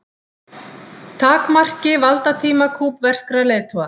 Takmarki valdatíma kúbverskra leiðtoga